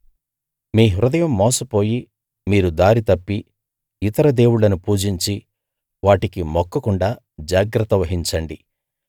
మీ హృదయం మోసపోయి మీరు దారి తప్పి ఇతర దేవుళ్ళను పూజించి వాటికి మొక్కకుండా జాగ్రత్త వహించండి